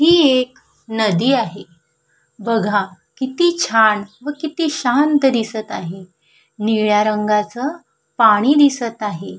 ही एक नदी आहे बघा किती छान व किती शांत दिसत आहे निळ्या रंगाच पाणी दिसत आहे.